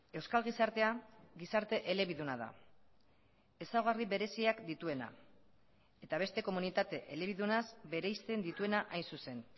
euskal gizartea gizarte elebiduna da ezaugarri bereziak dituena eta beste komunitate elebidunaz bereizten dituena hain zuzen